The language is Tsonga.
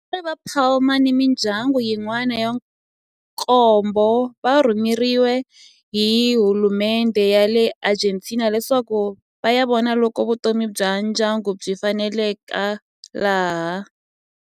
Vatswari va Palma ni mindyangu yin'wana ya nkombo va rhumeriwe hi hulumendhe ya le Argentina leswaku va ya vona loko vutomi bya ndyangu byi faneleka laha.